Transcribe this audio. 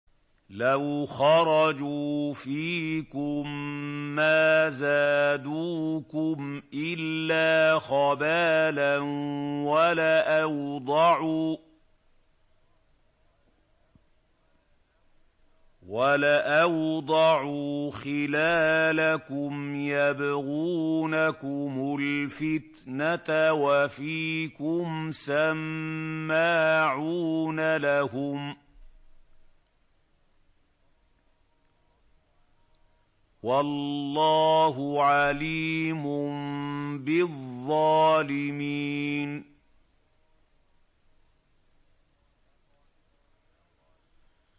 لَوْ خَرَجُوا فِيكُم مَّا زَادُوكُمْ إِلَّا خَبَالًا وَلَأَوْضَعُوا خِلَالَكُمْ يَبْغُونَكُمُ الْفِتْنَةَ وَفِيكُمْ سَمَّاعُونَ لَهُمْ ۗ وَاللَّهُ عَلِيمٌ بِالظَّالِمِينَ